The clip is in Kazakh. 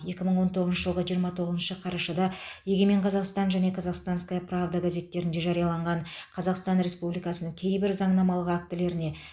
екі мың он тоғызыншы жылғы жиырма тоғызыншы қарашада егемен қазақстан және казахстанская правда газеттерінде жарияланған қазақстан республикасының кейбір заңнамалық актілеріне